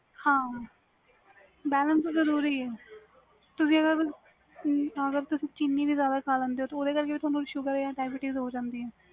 ਹਾਂ balance ਜਰੂਰੀ ਏ ਤੁਸੀ ਅਗਰ ਚੀਨੀ ਵੀ ਜਿਆਦਾ ਖਾ ਲੈ ਦੇ ਹੂ ਓਹਦੇ ਕਰਕੇ ਵੀ ਤੁਹਾਨੂੰ ਸ਼ੂਗਰ ਜਾ diabetes ਹੋ ਜਾਂਦੀ ਆ